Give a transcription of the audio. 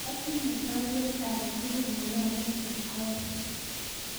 Atinye baruet ake tugul neyobu Kipkoech